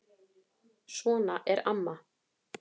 Svona er amma.